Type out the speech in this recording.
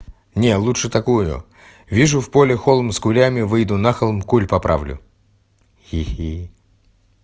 не лучше такую вижу в поле холм с кулями выйду на холм куль поправлю хи-хи